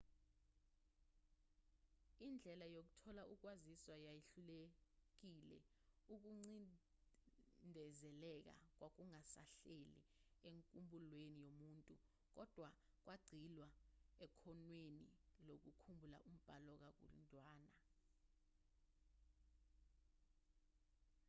indlela yokuthola ukwaziswa yayihlukile ukucindezeleka kwakungasahlali enkumbulweni yomuntu kodwa kwagxilwa ekhonweni lokukhumbula umbhalo kakhudlwana